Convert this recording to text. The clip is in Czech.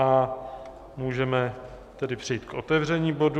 A můžeme tedy přejít k otevření bodu.